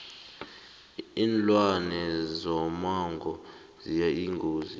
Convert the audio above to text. linlwane zomango ziyingozi